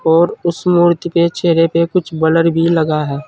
और उस मूर्ति के चेहरे पे कुछ ब्लर भी लगा है।